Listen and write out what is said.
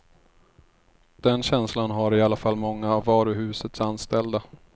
Den känslan har i alla fall många av varuhusets anställda.